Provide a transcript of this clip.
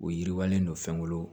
O yiriwalen don fɛnkolon